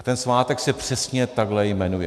A ten svátek se přesně takhle jmenuje.